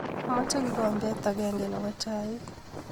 Amache kikombet agenge nebo chaik